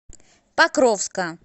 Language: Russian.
покровска